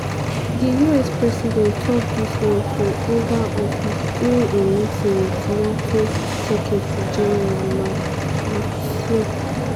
di us president tok dis one for oval office during im meeting wit nato secretary-general mark rutte.